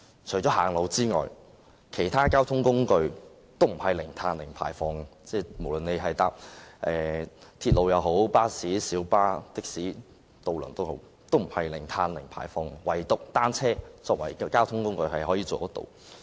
除了步行外，其他交通工具均不是零碳和零排放，鐵路、巴士、小巴、的士及渡輪都不是，唯獨以單車作為交通工具，可以做得到這樣。